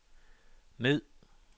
ned